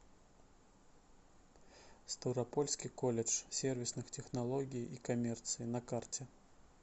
ставропольский колледж сервисных технологий и коммерции на карте